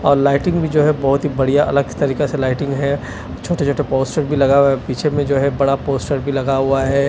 और लाइटिंग भी जो है बहुत ही बढ़िया अलग तरीका से लाइटिंग है छोटे-छोटे पोस्टर भी लगा हुआ है पीछे में जो है बड़ा पोस्टर भी लगा हुआ है।